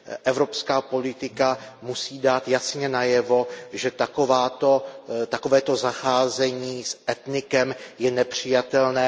Evropská politika musí dát jasně najevo, že takovéto zacházení s etnikem je nepřijatelné.